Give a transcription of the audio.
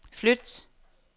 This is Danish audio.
flyt